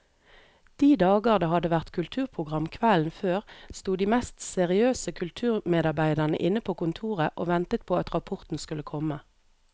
De dager det hadde vært kulturprogram kvelden før, sto de mest seriøse kulturmedarbeidere inne på kontoret og ventet på at rapporten skulle komme.